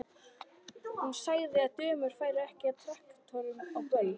Hún sagði að dömur færu ekki á traktorum á böll.